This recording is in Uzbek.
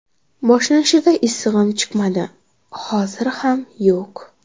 Boshlanishida issig‘im chiqmadi, hozir ham yo‘q.